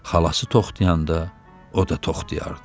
Xalası toxtayanda, o da toxtayardı.